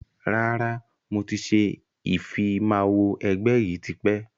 Rárá, mo ti ṣe ìfimawo ẹgbẹ́ yìí tipẹ́